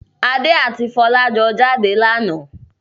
Adé àti Fọlá jọ jáde lánàá.